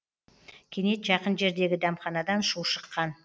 кенет жақын жердегі дәмханадан шу шыққан